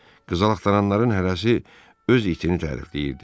Qızıl axtaranların hərəsi öz itini tərifləyirdi.